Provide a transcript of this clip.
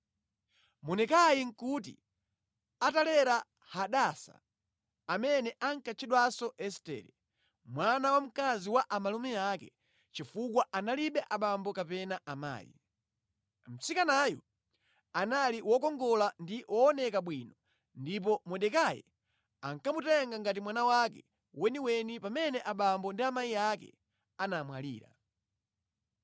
Mordekai nʼkuti atalera Hadasa, amene ankatchedwanso Estere, mwana wamkazi wa amalume ake chifukwa analibe abambo kapena amayi. Mtsikanayu anali wokongola ndi wooneka bwino ndipo Mordekai ankamutenga ngati mwana wake weniweni pamene abambo ndi amayi ake anamwalira.